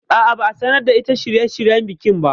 A'a, ba a sanar da ita shirye shiryen bikin ba